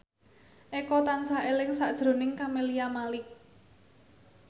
Eko tansah eling sakjroning Camelia Malik